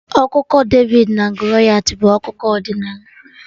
Akụkọ David na Goliath bụ akụkọ ọdịnala